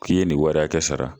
K'i ye nin wari hakɛ sara